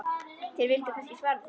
Þér vilduð kannski svara því.